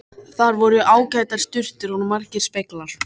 Þar voru ágætar sturtur og margir speglar!